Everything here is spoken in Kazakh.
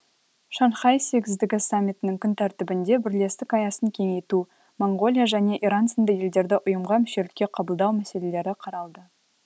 шанхай сегіздігі саммитінің күн тәртібінде бірлестік аясын кеңейту моңғолия және иран сынды елдерді ұйымға мүшелікке қабылдау мәселелері қаралды